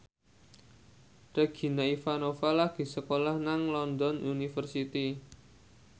Regina Ivanova lagi sekolah nang London University